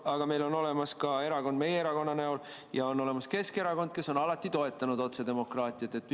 Aga meil on olemas ka erakond meie erakonna näol ja on olemas Keskerakond, kes on alati toetanud otsedemokraatiat.